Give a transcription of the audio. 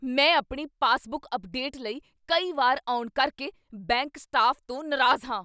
ਮੈਂ ਆਪਣੀ passbook update ਲਈ ਕਈ ਵਾਰ ਆਉਣ ਕਰਕੇ ਬੈਂਕ ਸਟਾਫ਼ ਤੋਂ ਨਾਰਾਜ਼ ਹਾਂ।